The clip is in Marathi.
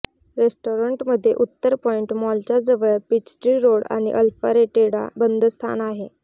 रेस्टॉरन्टमध्ये उत्तर पॉइंट मॉलच्या जवळ पीचट्री रोड आणि अल्फारेटेटा बंद स्थान आहे